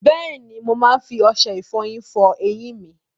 Bẹ́ẹ̀ni, mo máa ń fi ọṣẹ ìfọyín fọ eyín mi.